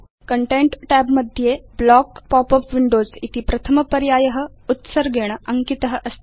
content tab मध्ये block pop up windows इति प्रथम पर्याय उत्सर्गेण अङ्कित अस्ति